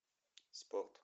спорт